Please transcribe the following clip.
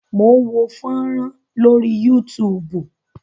Mò ń wo fọ́rán lórí Yúutùùbù.